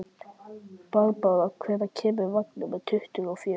Barbára, hvenær kemur vagn númer tuttugu og fjögur?